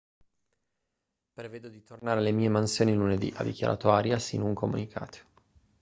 prevedo di tornare alle mie mansioni lunedì ha dichiarato arias in un comunicato